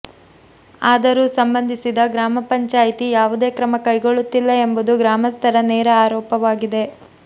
ಆದರೂ ಸಂಬಂಧಿಸಿದ ಗ್ರಾಮ ಪಂಚಾಯಿತಿ ಯಾವುದೇ ಕ್ರಮ ಕೈಗೊಳ್ಳುತ್ತಿಲ್ಲ ಎಂಬುದು ಗ್ರಾಮಸ್ಥರ ನೇರ ಆರೋಪವಾಗಿದೆ